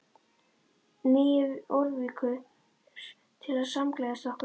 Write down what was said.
Nýju Jórvíkur til að samgleðjast okkur.